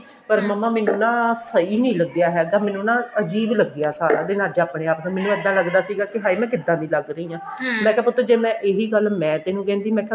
ਪਰ ਮੰਮਾ ਮੈਨੂੰ ਨਾ ਸਹੀ ਨਹੀਂ ਲੱਗਿਆ ਹੈਗਾ ਮੈਨੂੰ ਨਾ ਅਜੀਬ ਲੱਗਿਆ ਸਾਰਾ ਦਿਨ ਅੱਜ ਆਪਣੇ ਆਪ ਨੂੰ ਮੈਨੂੰ ਇੱਦਾਂ ਲੱਗ ਰਿਹਾ ਸੀ ਕਿ ਹਾਏ ਮੈਂ ਕਿੱਦਾਂ ਲੱਗ ਰਹੀ ਹਾਂ ਮੈਂ ਕਿਹਾ ਪੁੱਤ ਇਹੀ ਗੱਲ ਜੇ ਮੈਂ ਤੇਨੂੰ ਕਹਿੰਦੀ ਮੈਂ ਕਿਆ